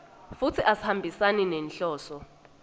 futsi asihambisani nenhloso